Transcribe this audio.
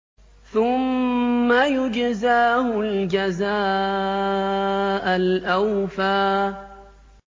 ثُمَّ يُجْزَاهُ الْجَزَاءَ الْأَوْفَىٰ